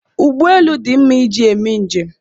Ụgbọelu dị mma iji mee njem